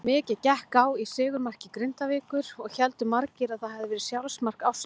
Mikið gekk á í sigurmarki Grindavíkur og héldu margir að það hafiði verið sjálfsmark Ástu.